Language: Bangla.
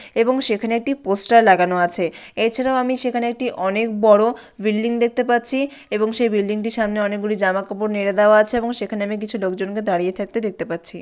এবং সেখানে একটি পোস্টার লাগানো আছে । এছাড়াও আমি সেখানে একটি অনেক বড় বিল্ডিং দেখতে পাচ্ছি এবং সেই বিল্ডিং -টির সামনে অনেকগুলি জামাকাপড় নেরে দেওয়া আছে এবং সেখানে আমি কিছু লোকজনকে দাঁড়িয়ে থাকতে দেখতে পাচ্ছি ।